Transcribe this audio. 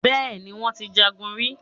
Bẹ́ẹ̀ni, wón ti jagun rí.